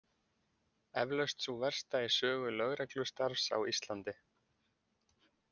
Eflaust sú versta í sögu lögreglustarfs á Íslandi.